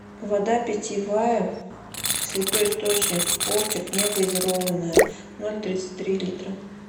вода питьевая святой источник спортик негазированная ноль тридцать три литра